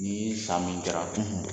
Ni ye san min jara